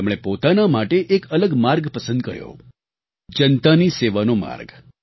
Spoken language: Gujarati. તેમણે પોતાના માટે એક અલગ માર્ગ પસંદ કર્યો જનતાની સેવાનો માર્ગ